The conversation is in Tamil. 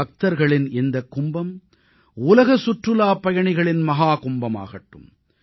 பக்தர்களின் இந்தக் கும்பம் உலக சுற்றுலாப் பயணிகளின் மஹாகும்பமாகட்டும்